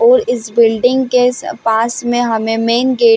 और इस बिल्डिंग के स पास में हमें मेंन गेट --